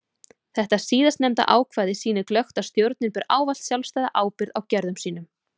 Þetta síðast nefnda ákvæði sýnir glöggt að stjórnin ber ávallt sjálfstæða ábyrgð á gerðum sínum.